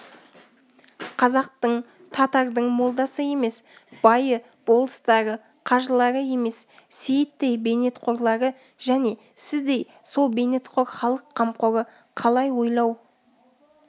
қазақтың татардың молдасы емес байы болыстары қажылары емес сейіттей бейнетқорлары және сіздей сол бейнетқор халық қамқоры қалай ойлау